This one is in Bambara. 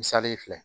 Misali filɛ